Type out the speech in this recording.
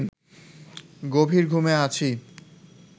গভীর ঘুমে আছি